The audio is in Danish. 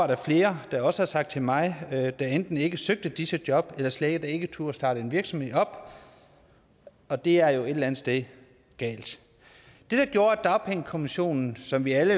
der flere der også har sagt til mig at de enten ikke søgte disse job eller slet ikke turde starte en virksomhed op og det er jo et eller andet sted galt det gjorde at dagpengekommissionen som vi alle